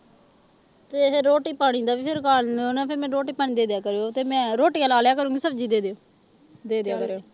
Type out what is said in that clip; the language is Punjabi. ਤੇ ਰੋਟੀ ਪਾਣੀ ਦਾ ਵੀ ਫਿਰ ਕਰ ਲਿਓ ਨਾ ਫਿਰ ਮੈਨੂੰ ਰੋਟੀ ਪਾਣੀ ਦੇ ਦਿਆ ਕਰਿਓ ਤੇ ਮੈਂ ਰੋਟੀਆਂ ਲਾ ਲਿਆ ਕਰੂੰਗੀ ਸਬਜ਼ੀ ਦੇ ਦਿਓ ਦੇ ਦਿਆ ਕਰਿਓ